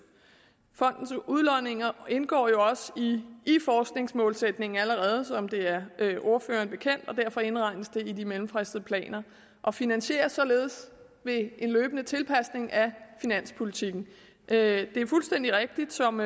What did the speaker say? fondens udlodninger indgår jo også allerede som det er ordføreren bekendt og derfor indregnes de i de mellemfristede planer og finansieres således ved en løbende tilpasning af finanspolitikken det er fuldstændig rigtigt som